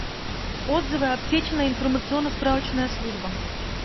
отзывы аптечная информационно справочная служба